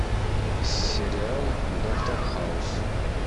сериал доктор хаус